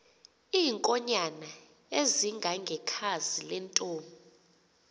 iinkonyan ezingangekhazi lentomb